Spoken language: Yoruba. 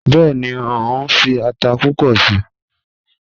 Bẹẹni, o nfi ata pupọ sii